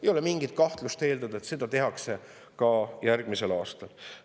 Ei ole mingit kahtlust, et seda tehakse ka järgmisel aastal.